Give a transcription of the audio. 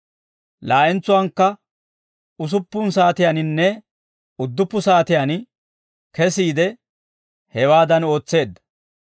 Laa'entsuwaakka usuppun saatiyaaninne udduppu saatiyaan kesiide, hewaadan ootseedda.